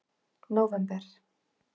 nóvember